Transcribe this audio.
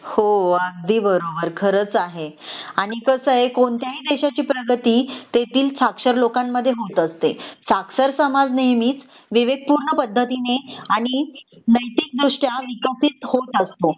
हो अगदी बरोबर खरच आहे आणि कसंय कोणत्याही देशाची प्रगती तेथील साक्षर लोकांमध्ये होत असते साक्षर समाज नेहमीच विवेकपूर्ण पद्धतीने आणि नैतिक दृष्ट्या विकसित होत असतो